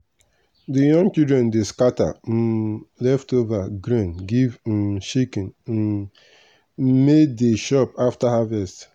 the young children dey scatter um leftover grain give um chicken um may dey chop after harvest.